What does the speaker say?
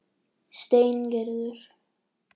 Steingerður